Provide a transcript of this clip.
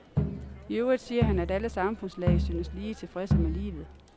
I øvrigt siger han, at alle samfundslag synes lige tilfredse med livet.